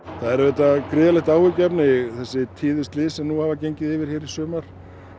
það er auðvitað gríðarlegt áhyggjuefni þessi tíðu slys sem nú hafa gengið yfir í sumar